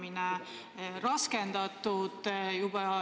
Aga teiseks tahan esile tuua metsauuenduse teema.